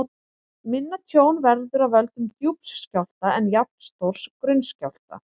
Minna tjón verður af völdum djúps skjálfta en jafnstórs grunns skjálfta.